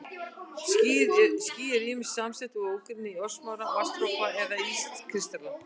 Ský eru ýmist samsett úr ógrynni örsmárra vatnsdropa eða ískristalla.